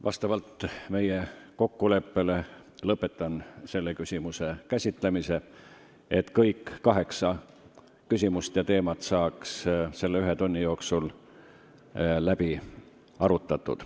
Vastavalt meie kokkuleppele lõpetan selle küsimuse käsitlemise, et kõik kaheksa teemat saaks selle ühe tunni jooksul läbi arutatud.